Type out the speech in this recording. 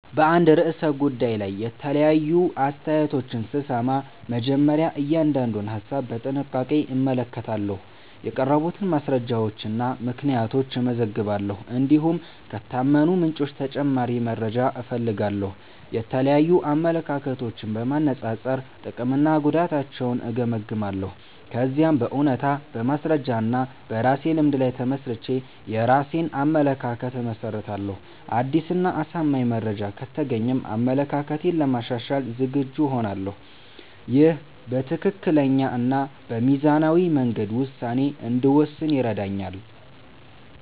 በአንድ ርዕሰ ጉዳይ ላይ የተለያዩ አስተያየቶችን ስሰማ፣ መጀመሪያ እያንዳንዱን ሀሳብ በጥንቃቄ እመለከታለሁ። የቀረቡትን ማስረጃዎችና ምክንያቶች እመዝናለሁ፣ እንዲሁም ከታመኑ ምንጮች ተጨማሪ መረጃ እፈልጋለሁ። የተለያዩ አመለካከቶችን በማነጻጸር ጥቅምና ጉዳታቸውን እገመግማለሁ። ከዚያም በእውነታ፣ በማስረጃ እና በራሴ ልምድ ላይ ተመስርቼ የራሴን አመለካከት እመሰርታለሁ። አዲስ እና አሳማኝ መረጃ ከተገኘም አመለካከቴን ለማሻሻል ዝግጁ እሆናለሁ። ይህ በትክክለኛ እና በሚዛናዊ መንገድ ውሳኔ እንድወስን ይረዳኛል።